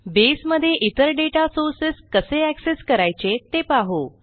बसे मधे इतर data sources कसे एक्सेस करायचे ते पाहू